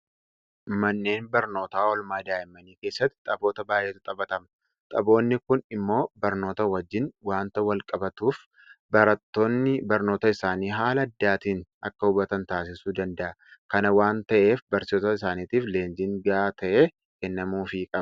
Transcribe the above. Manneen barnootaa oolmaa daa'immanii keessatti taphoota baay'eetu taphatama. Taphoonni kun immoo barnoota wajjin waanta walqabatuuf barattooni barnoota isaanii haala addaatiin akka hubatan taasisuu danda'a. Kana waanta ta'eef barsiisota isaaniitiif leenjiin gahaa ta'e kennamuufii qaba.